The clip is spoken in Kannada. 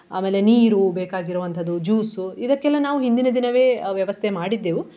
ಆಮೇಲೆ ನೀರು ಬೇಕಾಗಿರುವಂತದ್ದು juice ಇದಕ್ಕೆಲ್ಲ ನಾವು ಹಿಂದಿನ ದಿನವೇ ವ್ಯವಸ್ಥೆ ಮಾಡಿದ್ದೆವು.